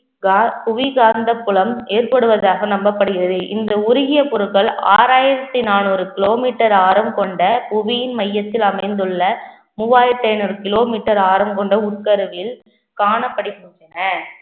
கா~ புவி காந்த புலம் ஏற்படுவதாக நம்பப்படுகிறது. இந்த உருகிய பொருட்கள் ஆறாயிரத்தி நானூறு kilometer ஆழம் கொண்ட புவியின் மையத்தில் அமைந்துள்ள மூவாயிரத்தி ஐநூறு kilometer ஆழம் கொண்ட உட்கருவில் காணப்படுகின்றன